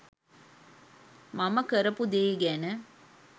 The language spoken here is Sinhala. මම කරපු දේ ගැන